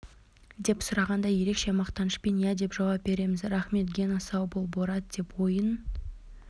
деп сұрағанда ерекше мақтанышпен иә деп жауап береміз рахмет гена сау бол борат деп ойын